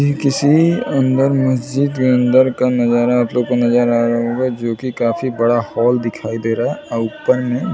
ये किसी अंदर महजिद अंदर का नजारा आप लोग नजर आ रहा है जो की काफी बड़ा हॉल दिखाई दे रहा हैं और ऊपर में--